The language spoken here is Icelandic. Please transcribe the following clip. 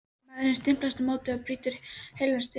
Maðurinn stimpast á móti og brýtur heilan stiga!